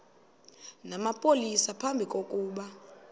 namapolisa phambi kokuba